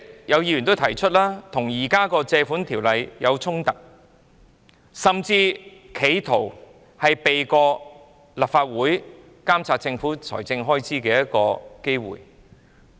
有議員已指出，此舉與現行《借款條例》有衝突，甚至是企圖避過立法會監察政府財政開支的機會。